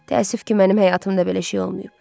Təəssüf ki, mənim həyatımda belə şey olmayıb.